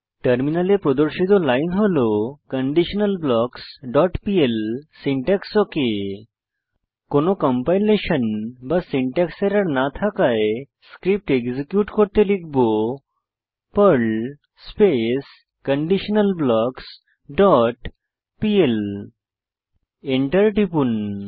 টার্মিনালে প্রদর্শিত লাইন হল conditionalblocksপিএল সিনট্যাক্স ওক কোনো কম্পাইলেশন বা সিনট্যাক্স এরর না থাকায় স্ক্রিপ্ট এক্সিকিউট করতে লিখব Perl space conditional blocks dot PL enter টিপুন